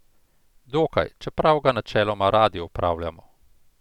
Dokaj, čeprav ga načeloma radi opravljamo.